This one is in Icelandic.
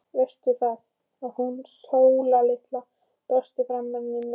Veistu það, að hún Sóla litla brosti framan í mig.